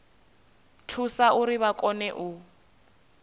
thusa uri vha kone u